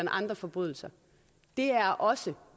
andre forbrydelser det er også